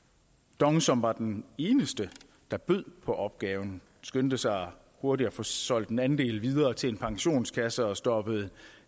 dong som var den eneste der bød på opgaven skyndte sig hurtigt at få solgt en andel videre til en pensionskasse og stoppede en